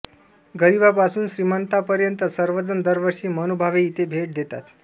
गरिबापासून श्रीमान्तापायंत सार्वजन दरवर्षी मनोभावे इथे भेट देतात